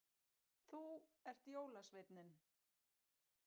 Þú ert jólasveinninn